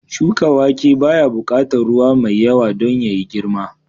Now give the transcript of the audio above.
Shuka wake baya buƙatar ruwa mai yawa don yayi girma